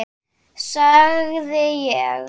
sagði ég.